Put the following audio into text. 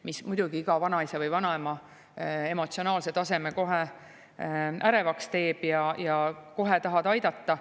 Muidugi teeb see iga vanaisa või vanaema emotsionaalse taseme ärevaks ja ta tahab kohe aidata.